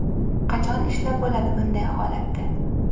Qachon ishlab bo‘ladi bunday holatda?